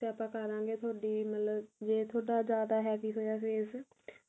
ਤੇ ਆਪਾਂ ਕਰਾਗੇ ਮਤਲਬ ਤੁਹਾਡੀ ਮਤਲਬ ਜੇ ਤੁਹਾਡਾ ਜਿਆਦਾ heavy ਹੋਇਆ face